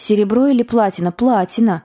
серебро или платина платина